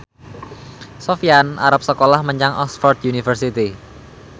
Sofyan arep sekolah menyang Oxford university